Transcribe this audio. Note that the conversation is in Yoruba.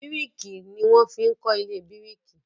biriki ní wan fín kọ ilé biriki